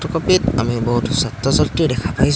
ছপিত আমি বহুতো ছাত্ৰ ছাত্ৰী দেখা পাইছোঁ।